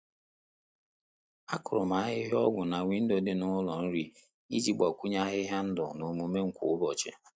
A kụrụ m ahịhịa ọgwu na Windò dị n'ụlọ nri iji gbakwunye ahịhịa ndụ n'omume m kwa ụbọchị.